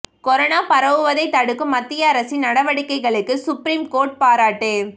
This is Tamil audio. கொரோனா பரவுவதை தடுக்கும் மத்திய அரசின் நடவடிக்கைகளுக்கு சுப்ரீம் கோர்ட் பாராட்டு